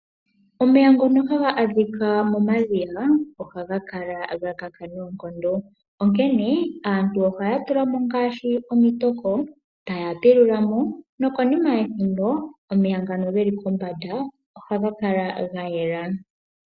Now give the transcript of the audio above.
Omeya ngono ha ga adhika momadhiya oha ga kala ga kaka noonkondo. Onkene aantu oha ya tula ngaashi omitoko taya pilula mo nokonima yethimbo omeya ngano ge li kombanda oha ga kala ga yela.